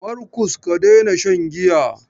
Markus, ka daina shan giya!